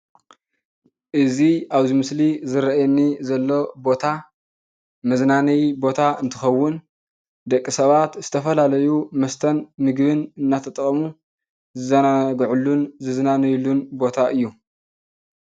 እዚ ኣብዚ ምስሊ ዝረአየኒ ዘሎ ቦታ መዝናነዪ ቦታ እንትኸውን ደቂ ሰባት ዝተፈላለዩ መስተን ምግብን እናተጠቐሙ ዝዘናግዑሉን ዝዝናነዩሉን ቦታ እዩ፡፡